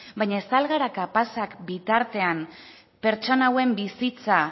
baina ez al gara kapazak bitartean pertsona hauen bizitza